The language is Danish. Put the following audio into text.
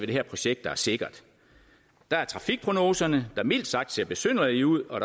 det her projekt der er sikkert der er trafikprognoserne der mildt sagt ser besynderlige ud og